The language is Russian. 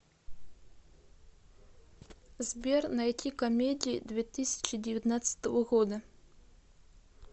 сбер найти комедии две тысячи девятнадцатого года